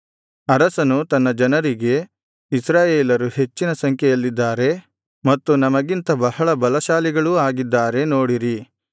ಅರಸನು ತನ್ನ ಜನರಿಗೆ ಇಸ್ರಾಯೇಲರು ಹೆಚ್ಚಿನ ಸಂಖ್ಯೆಯಲ್ಲಿದ್ದಾರೆ ಮತ್ತು ನಮಗಿಂತ ಬಹಳ ಬಲಶಾಲಿಗಳೂ ಆಗಿದ್ದಾರೆ ನೋಡಿರಿ